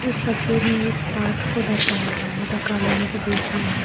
इस तस्वीर में एक पार्क को दर्शाया गया है जो कॉलोनी के बीच में है।